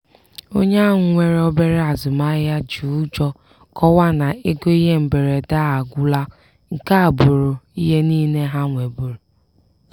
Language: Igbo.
onye ahụ nwere obere azụmahịa ji ụjọ kọwaa na ego ihe mberede ha agwụla nke a abụrụ ihe niile ha nwebuuru.